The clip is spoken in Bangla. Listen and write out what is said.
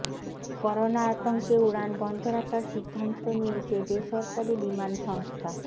করোনা আতঙ্কে উড়ান বন্ধ রাখার সিদ্ধান্ত নিয়েছে বেসরকারি বিমান সংস্থা